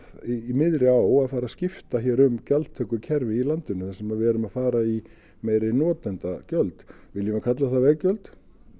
í miðri á að fara að skipta um gjaldtökukerfi í landinu þar sem við erum að fara í meiri notendagjöld viljum við kalla það veggjöld